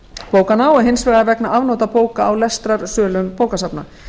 bókanna og hins vegar vegna afnota bóka á lestrarsölum bókasafna